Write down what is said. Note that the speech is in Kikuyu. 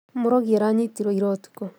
Morogi aranyitirwo ira ũtukũ